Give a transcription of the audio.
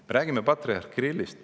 Me räägime patriarh Kirillist.